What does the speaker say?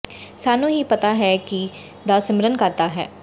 ਸਾਨੂੰ ਹੀ ਪਤਾ ਹੈ ਕੀ ਦਾ ਸਿਮਰਨ ਕਰਦਾ ਹੈ